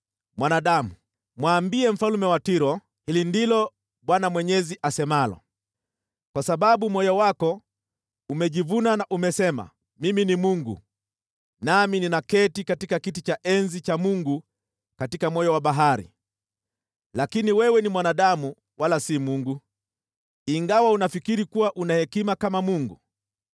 “Mwanadamu, mwambie mfalme wa Tiro, ‘Hili ndilo Bwana Mwenyezi asemalo: “ ‘Kwa sababu moyo wako umejivuna na umesema, “Mimi ni mungu; nami ninaketi katika kiti cha enzi cha mungu katika moyo wa bahari.” Lakini wewe ni mwanadamu, wala si mungu, ingawa unafikiri kuwa una hekima kama mungu.